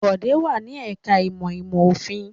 Bọ̀dé wà ní ẹ̀ka-ìmọ̀ ìmọ̀-òfin.